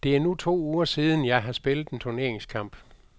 Det er nu to uger siden, har spillet en turneringskamp.